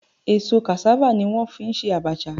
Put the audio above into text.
Èso cassava ni wọ́n fi ń ṣe abacha